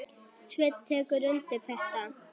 Sveinn tekur undir þetta.